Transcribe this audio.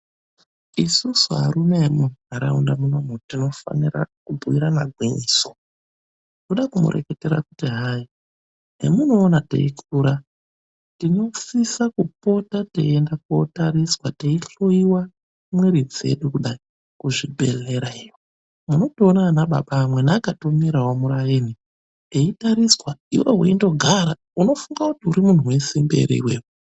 Isusu arume emundaraunda munomu tinofanira kubhuirana gwinyiso. Kuda kumureketera kuti hai hemunoona teikura tinosisa kupota teienda kootariswa, kundohloiwa mwiri dzedu kudai kuzvibhedhlera iyo. Unondoona ana baba amweni akatomirawo muraini, eitariswa, iwewe weindogara. Unofunga kuti urimuntu wesimbi ere iwewe?